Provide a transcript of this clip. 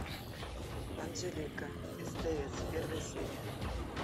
анжелика стс первая серия